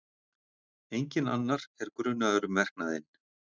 Enginn annar er grunaður um verknaðinn